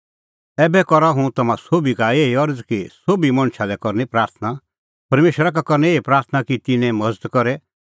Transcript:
ऐबै करा हुंह तम्हां सोभी का एही अरज़ कि सोभी मणछा लै करनी प्राथणां परमेशरा का करनी एही प्राथणां कि तिन्नें मज़त करे